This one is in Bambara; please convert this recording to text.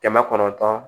Kɛmɛ kɔnɔntɔn